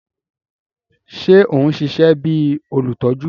Ṣe o n ṣiṣẹ bi olutọju?